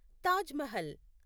Taj Mahal